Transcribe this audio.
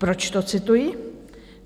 Proč to cituji?